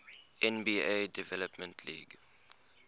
nba development league